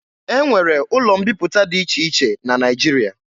E nwere ụlọ mbiputa dị iche iche na Naịjirịa.